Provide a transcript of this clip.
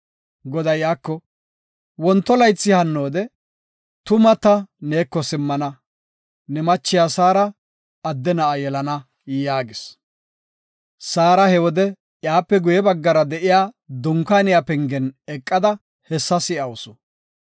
Goday iyako, “Wonto laythi hannoode tuma ta neeko simmana; ne machiya Saara adde na7a yelana” yaagis. Saara he wode iyape guye baggara de7iya dunkaaniya pengen eqada hessa si7awusu.